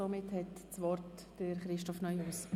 Somit hat Regierungsrat Neuhaus das Wort.